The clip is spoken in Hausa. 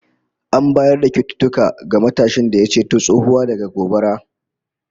An bayar da kyaututtuka ga matashin da ya ceto tsohuwa daga gobara